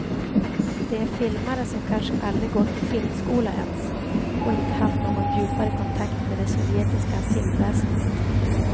Det är filmare som kanske aldrig gått i filmskola ens, och inte haft någon djupare kontakt med det sovjetiska filmväsendet.